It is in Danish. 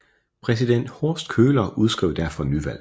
Præsident Horst Köhler udskrev derfor nyvalg